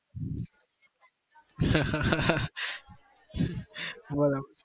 બરાબર